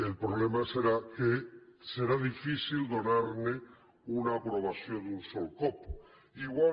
el problema serà que serà difícil donar una aprovació d’un sol cop igual que